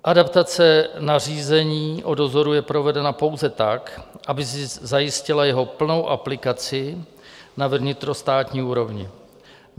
Adaptace nařízení o dozoru je provedena pouze tak, aby zajistila jeho plnou aplikaci na vnitrostátní úrovni.